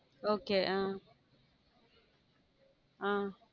Okay hmm hmm